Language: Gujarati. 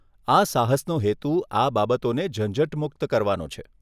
આ સાહસનો હેતુ આ બાબતોને ઝંઝટમુક્ત કરવાનો છે.